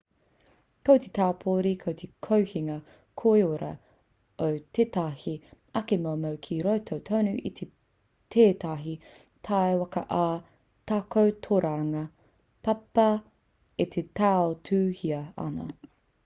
ko te taupori ko te kohinga koiora o tētahi ake momo ki roto tonu i tētahi takiwā ā-takotoranga papa e tautuhia ana